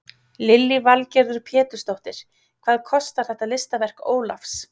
Lillý Valgerður Pétursdóttir: Hvað kostar þetta listaverk Ólafs?